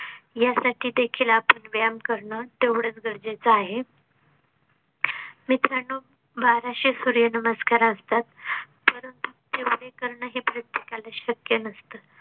यासाठी देखील आपण व्यायाम करणं तेवढंच गरजेचं आहे. मित्रांनो, बाराशे सुर्य नमस्कार असतात करणे हे प्रत्येका ला शक्य नसते